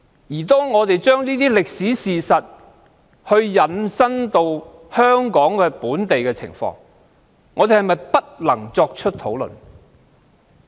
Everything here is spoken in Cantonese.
如果我們把這些歷史事實引申到香港的情況，我們是否不能作出討論？